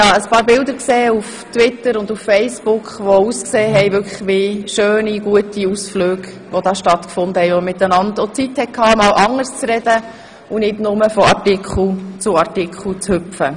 Ich habe ein paar Bilder auf Twitter und Facebook gesehen, denen ich entnehme, dass es wirklich schöne Ausflüge waren und man auch einmal Zeit hatte, über anderes zu sprechen und nicht nur von Artikel zu Artikel zu hüpfen.